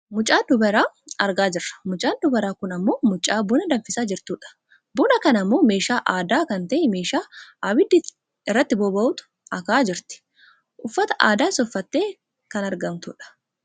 Mucaa dubaraa argaa jirra. Mucaan dubaraa kun ammoo mucaa buna danfisaa jirtudha. Buna kana ammoo meeshaa aadaa kan ta'e meeshaa abiddi irratti bobahutti akaahaa jirti. Uffata aadaas uffattee kan argamtudha.